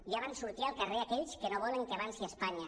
ja van sortir al carrer aquells que no volen que avanci espanya